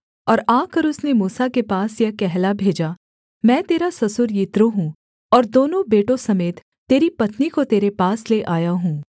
और आकर उसने मूसा के पास यह कहला भेजा मैं तेरा ससुर यित्रो हूँ और दोनों बेटों समेत तेरी पत्नी को तेरे पास ले आया हूँ